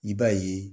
I b'a ye